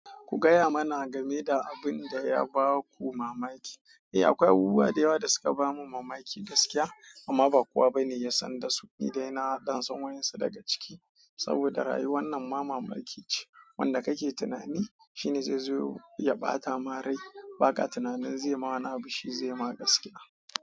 Kugaya mana gameda abinda ya baku mamaki. Eh, akwai abubuwa da yawa da suka bamu mamaki gaskiya amma ba kowa bane ya san dasu. Ni dai na haddansa wayunsu daga ciki saboda rayuwar nan ma mamakice. Wanda kake tunani shine zai zo ya ɓata marai. Ba ka tunanin zai ma wani abun, shi zai ma gaskiya.